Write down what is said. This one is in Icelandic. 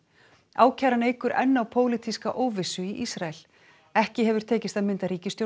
ákæran eykur enn á pólitíska óvissu í Ísrael ekki hefur tekist að mynda ríkisstjórn